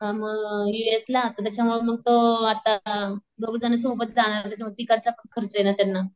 अअ म U S ला तर त्याच्यामुळं मग तो आता दोघेजण सोबत जाणारे तिकडचापण खर्चयें त्यांना.